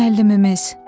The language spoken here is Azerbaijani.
Müəllimimiz.